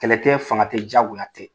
Kɛlɛ tɛ, fanga tɛ , diyagoya tɛ.